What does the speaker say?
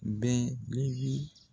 bɛ